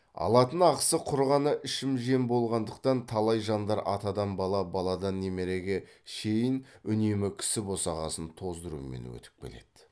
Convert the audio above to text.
алатын ақысы құр ғана ішіп жем болғандықтан талай жандар атадан бала баладан немереге шейін үнемі кісі босағасын тоздырумен өтіп келеді